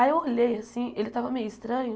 Aí eu olhei assim, ele estava meio estranho.